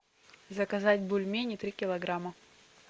заказать бульмени три килограмма